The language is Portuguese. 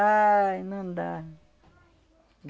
Ai, não dá.